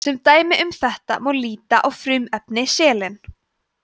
sem dæmi um þetta má líta á frumefni selen